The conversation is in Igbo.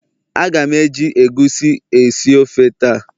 A ga m eji egusi esi ofe taa